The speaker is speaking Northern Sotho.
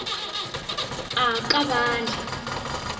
a ka a ba le